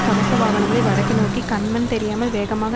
கவச வாகனங்கள் வடக்குநோக்கி கண் மண் தெரியாமல் வேகமாக